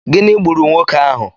Gịnị ghuru nwoke ahụ?